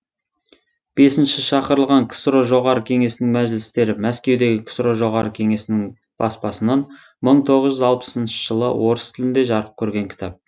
бесінші шақырылған ксро жоғарғы кеңесінің мәжілістері мәскеудегі ксро жоғарғы кеңесінің баспасынан мың тоғыз жүз алпысыншы жылы орыс тілінде жарық көрген кітап